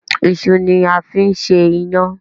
iṣu ni a fín ṣe iyan.